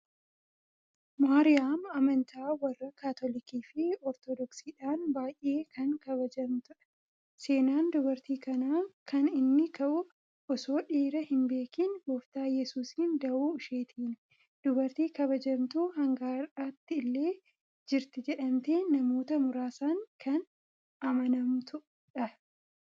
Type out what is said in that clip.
Maariyaam amantaa warra Kaatolikii fi Ortoodoksiidhaan baay'ee kan kabajamtudha. Seenaan dubartii kanaa kan inni ka'u, osoo dhiira hin beekiin Gooftaa yesuusiin dahuu isheetiini. Dubartii kabajamtuu hanga har'aatti illee jirti jedhamtee namoota muraasaan kan amanamtudha.